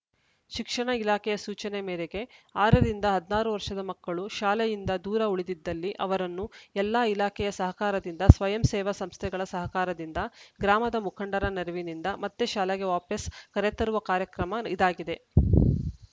ಶಿಕ್ಷಣ ಇಲಾಖೆಯ ಸೂಚನೆ ಮೇರೆಗೆ ಆರ ರಿಂದ ಹದಿನಾರು ವರ್ಷದ ಮಕ್ಕಳು ಶಾಲೆಯಿಂದ ದೂರ ಉಳಿದಿದ್ದಲ್ಲಿ ಅವರನ್ನು ಎಲ್ಲಾ ಇಲಾಖೆಯ ಸಹಕಾರದಿಂದ ಸ್ವಯಂ ಸೇವಾ ಸಂಸ್ಥೆಗಳ ಸಹಕಾರದಿಂದ ಗ್ರಾಮದ ಮುಖಂಡರ ನೆರವಿನಿಂದ ಮತ್ತೆ ಶಾಲೆಗೆ ವಾಪಾಸ್‌ ಕರೆತರುವ ಕಾರ್ಯಕ್ರಮ ಇದಾಗಿದೆ